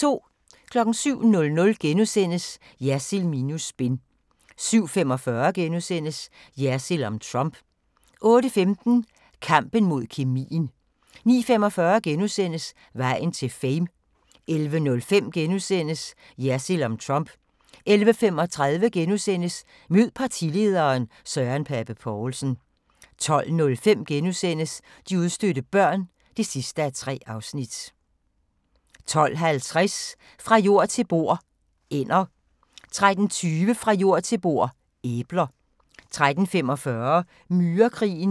07:00: Jersild minus spin * 07:45: Jersild om Trump * 08:15: Kampen mod kemien 09:45: Vejen til "Fame" * 11:05: Jersild om Trump * 11:35: Mød partilederen: Søren Pape Poulsen * 12:05: De udstødte børn (3:3)* 12:50: Fra jord til bord: Ænder 13:20: Fra jord til bord: Æbler 13:45: Myrekrigen